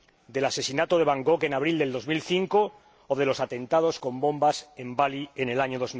del asesinato de Bangkok en abril de 2005, o de los atentados con bombas en Bali en el año